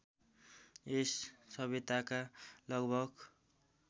यस सभ्यताका लगभग